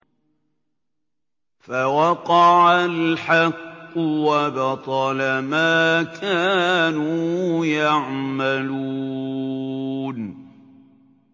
فَوَقَعَ الْحَقُّ وَبَطَلَ مَا كَانُوا يَعْمَلُونَ